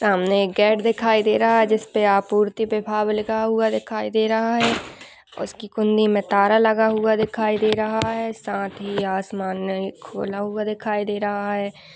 सामने गेट दिखाई दे रहा है जिस पे आपूर्ति विभाग लिखा हुआ दिखाई दे रहा है। उसकी कुण्डी में ताला लगा हुआ दिखाई दे रहा है साथ ही खोला हुआ दिखाई दे रहा है।